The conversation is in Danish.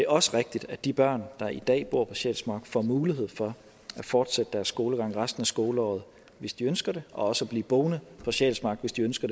også rigtigt at de børn der i dag bor på sjælsmark får mulighed for at fortsætte deres skolegang resten af skoleåret hvis de ønsker det og også at blive boende på sjælsmark hvis de ønsker